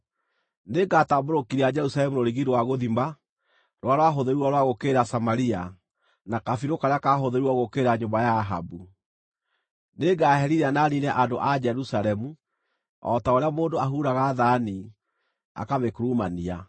Nĩngatambũrũkĩria Jerusalemu rũrigi rwa gũthima rũrĩa rwahũthĩrirwo rwa gũũkĩrĩra Samaria na kabirũ karĩa kahũthĩrirwo gũũkĩrĩra nyũmba ya Ahabu. Nĩngaherithia na niine andũ a Jerusalemu o ta ũrĩa mũndũ ahuuraga thaani, akamĩkurumania.